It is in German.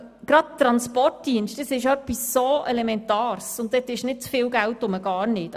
Gerade der Transportdienst ist so elementar, und dort gibt es nicht zu viel Geld, überhaupt nicht.